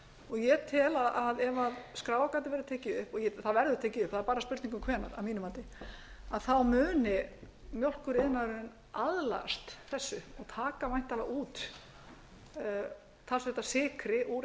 og ég tel að ef skráargatið verður tekið upp og það verður tekið upp það er bara spurning um hvenær að mínu mati þá muni mjólkuriðnaðurinn aðlagast þessu og taka væntanlega út talsvert af sykri úr